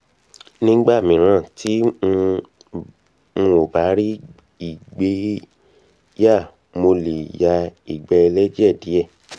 nígbà míràn tí um n ò bá rí ìgbé yà mo lè ya ìgbẹ́ ẹlẹ́jẹ̀ díẹ̀